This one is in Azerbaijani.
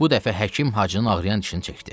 Bu dəfə həkim Hacının ağrıyan dişini çəkdi.